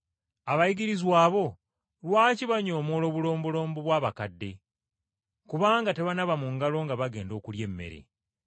“Abayigirizwa bo lwaki banyoomoola obulombolombo bw’Abakadde? Kubanga tebanaaba mu ngalo nga bagenda okulya emmere.”